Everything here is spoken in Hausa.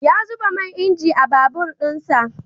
Ya zuba man inji a babur din sa.